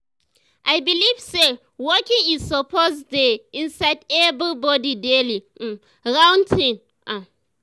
i believe say walking e suppose dey inside everybody daily um routine. um